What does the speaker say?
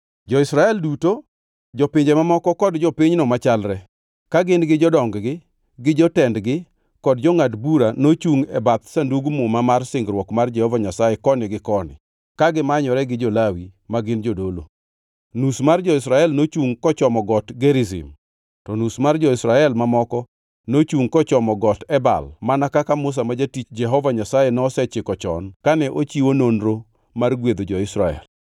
Jo-Israel duto, jopinje mamoko kod jopinyno machalre, ka gin gi jodong-gi, gi jotendgi kod jongʼad bura nochungʼ e bath Sandug Muma mar singruok mar Jehova Nyasaye koni gi koni, ka gimanyore gi jo-Lawi ma gin jodolo. Nus mar jo-Israel nochungʼ kochomo got Gerizim, to nus mar jo-Israel mamoko nochungʼ kochomo got Ebal mana kaka Musa ma jatich Jehova Nyasaye nosechiko chon kane ochiwo nonro mar gwedho jo-Israel.